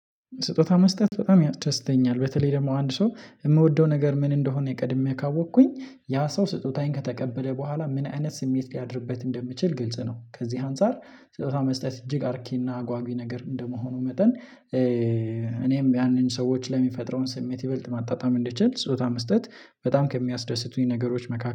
ስጦታ መስጠት በጣም ያስደስተኛል በተለይ ደግሞ አንድ ሰው የሚወደው ነገር ምን እንደሆነ ቀድሜ ካወቅኩኝ ያ ሰው ስጦታዬን ከተቀበለ በኋላ ምን አይነት ስሜት ሊያድርበት እንደምችል ግልጽ ነው። ከዚህ አንፃር ስጦታ መስጠት እጅግ አርኪና አጓጊ ነገር እንደመሆኑ መጠን እኔም ያንን ሰዎች ለሚፈጥረውን ስሜት ይበልጥ ማጣጣም እንድችል ጾታ መስጠት በጣም ከሚያስደስቱኝ ነገሮች መካከል